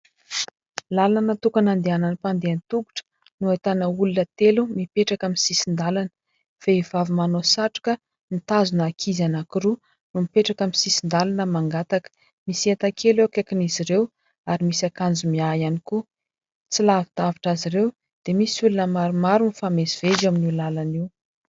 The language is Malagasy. Lalana tokana andehanan'ny mpandeha tongotra no ahitana olona telo mipetraka amin'ny sisin-dalana, vehivavy manao satroka nitazona ankizy anankiroa no mipetraka aminy sisin-dalana mangataka. Misy entan-kely eo akaikin'izy ireo ary misy ankanjo miahy ihany koa, tsy lavidavitra azy ireo dia misy olona maromaro mifamezivezy amin'ny io lalana io.